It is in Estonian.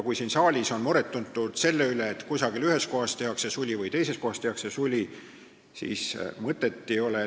Siin saalis on tuntud muret selle pärast, et ühes kohas tehakse suli või teises kohas tehakse suli.